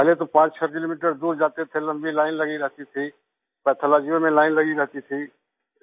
और पहले तो 56 किलोमीटर दूर जाते थे लम्बी लाईन लगी रहती थी पैथोलॉजी में लाइन लगी रहती थी